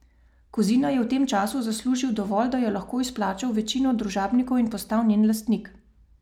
Kozina je v tem času zaslužil dovolj, da je lahko izplačal večino družabnikov in postal njen lastnik.